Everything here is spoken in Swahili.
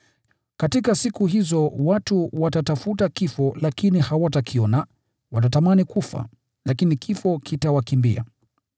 Katika siku hizo watu watatafuta kifo lakini hawatakiona, watatamani kufa, lakini kifo kitawakimbia.